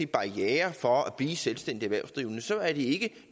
barriere for at blive selvstændig erhvervsdrivende er så er det ikke